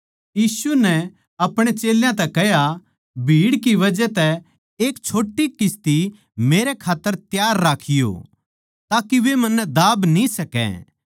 यीशु नै आपणे चेल्यां तै कह्या भीड़ की बजह तै एक छोट्टी किस्ती मेरै खात्तर त्यार राखियों ताके वे मन्नै दाब न्ही सकै